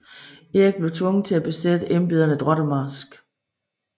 Erik blev tvunget til at besætte embederne drot og marsk